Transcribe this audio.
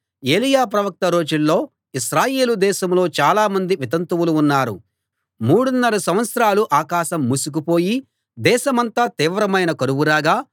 ఏలీయా ప్రవక్త రోజుల్లో ఇశ్రాయేలు దేశంలో చాలామంది వితంతువులు ఉన్నారు మూడున్నర సంవత్సరాలు ఆకాశం మూసుకుపోయి దేశమంతా తీవ్రమైన కరువు రాగా